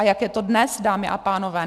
A jak je to dnes, dámy a pánové?